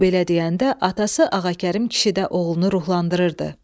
O belə deyəndə atası Ağakərim kişi də oğlunu ruhlandırırdı.